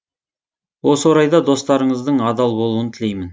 осы орайда достарыңыздың адал болуын тілеймін